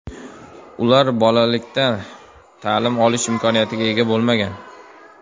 Ular bolalikda ta’lim olish imkoniyatiga ega bo‘lmagan.